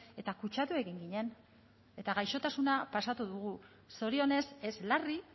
eta kutsatu egin ginen eta gaixotasuna pasatu dugu zorionez ez larri